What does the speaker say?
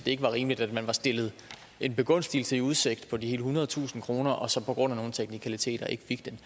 ikke var rimeligt at man var stillet en begunstigelse i udsigt på de ethundredetusind kroner og så på grund af nogle teknikaliteter ikke fik dem